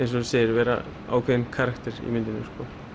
vera ákveðinn karakter í myndinni